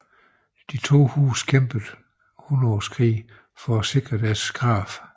De to huse kæmpede i Hundredeårskrigen at sikre deres krav